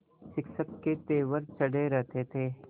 शिक्षक के तेवर चढ़े रहते थे